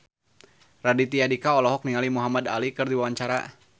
Raditya Dika olohok ningali Muhamad Ali keur diwawancara